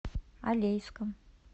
алейском